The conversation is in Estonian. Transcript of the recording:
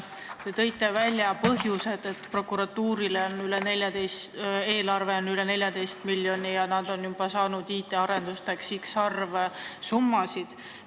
Te tõite välja põhjused, miks prokuratuuri eelarve on üle 14 miljoni ja nad on juba saanud IT-arendusteks x arv summasid.